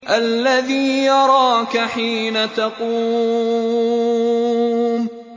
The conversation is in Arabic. الَّذِي يَرَاكَ حِينَ تَقُومُ